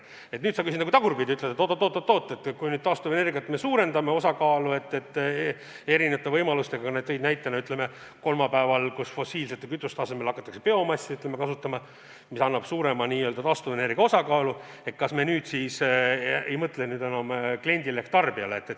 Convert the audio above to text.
Nüüd sa küsid nagu tagurpidi, ütled, et oot-oot-oot, kui me nüüd taastuvenergia osakaalu suurendame mitmesuguseid võimalusi kasutades – sa tõid näitena, et fossiilsete kütuste asemel hakatakse kasutama biomassi, mis tagab suurema taastuvenergia osakaalu –, kas me nüüd siis ei mõtle enam kliendile ehk tarbijale.